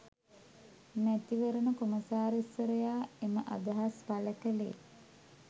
මැතිවරණ කොමසාරිස්වරයා එම අදහස් පළ කළේ